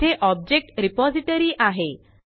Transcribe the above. येथे object repository आहे